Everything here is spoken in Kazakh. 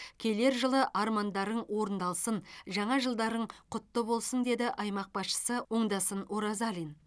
келер жылы армандарың орындалсын жаңа жылдарың құтты болсын деді аймақ басшысы оңдасын оразалин